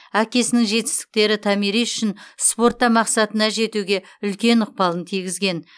әкесінің жетістіктері томирис үшін спортта мақсатына жетуге үлкен ықпалын тигізген